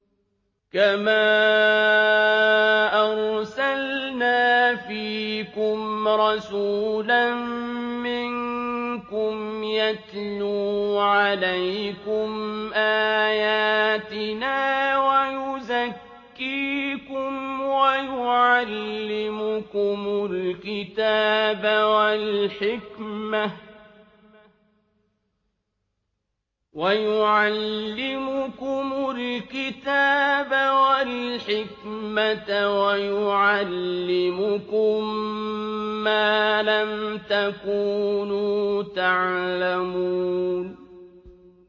كَمَا أَرْسَلْنَا فِيكُمْ رَسُولًا مِّنكُمْ يَتْلُو عَلَيْكُمْ آيَاتِنَا وَيُزَكِّيكُمْ وَيُعَلِّمُكُمُ الْكِتَابَ وَالْحِكْمَةَ وَيُعَلِّمُكُم مَّا لَمْ تَكُونُوا تَعْلَمُونَ